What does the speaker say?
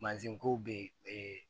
Mansin kow bɛ yen